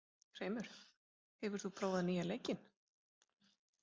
Hreimur, hefur þú prófað nýja leikinn?